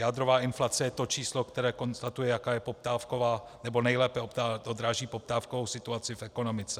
Jádrová inflace je to číslo, které konstatuje, jaká je poptávková - nebo nejlépe odráží poptávkovou situaci v ekonomice.